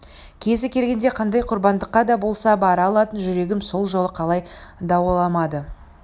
кезі келгенде қандай құрбандыққа да болса бара алатын жүрегім сол жолы қалай дауаламады